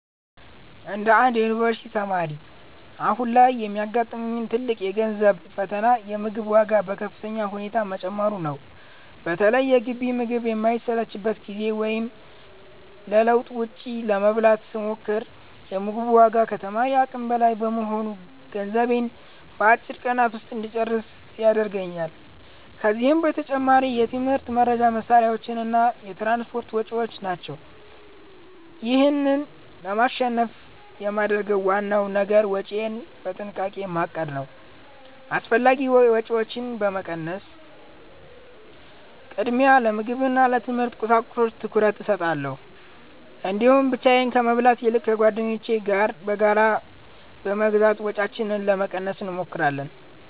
እንደ አንድ የዩኒቨርሲቲ ተማሪ፣ አሁን ላይ የሚያጋጥመኝ ትልቁ የገንዘብ ፈተና የምግብ ዋጋ በከፍተኛ ሁኔታ መጨመሩ ነው። በተለይ የግቢ ምግብ በማይመችበት ጊዜ ወይም ለለውጥ ውጭ ለመብላት ስሞክር፤ የ ምግቡ ዋጋ ከተማሪ አቅም በላይ በመሆኑ ገንዘቤን በአጭር ቀናት ውስጥ እንጨርስ ያደርገኛል። ከዚህም በተጨማሪ የትምህርት መርጃ መሣሪያዎችና የትራንስፖርት ወጪዎች ናቸው። ይህን ለማሸነፍ የማደርገው ዋናው ነገር ወጪዬን በጥንቃቄ ማቀድ ነው። አላስፈላጊ ወጪዎችን በመቀነስ፣ ቅድሚያ ለምግብና ለትምህርት ቁሳቁሶች ትኩረት እሰጣለሁ። እንዲሁም ብቻዬን ከመብላት ይልቅ ከጓደኞቼ ጋር በጋራ በመግዛት ወጪያችንን ለመቀነስ እንሞክራለን።